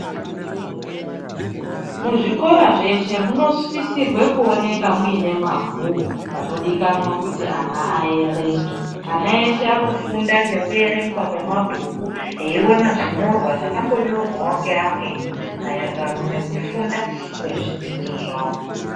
Muzvikora zveshe munosisirwa kuoneka muine mabhuku anodikanwa kuti ana aerenge .Ana ese anofunda nekuerengwa kwemabhuku eina zvinyorwa zvakambonyorwawo ngeamweni maererano ngekufunda kwezvidzidzo zvawo .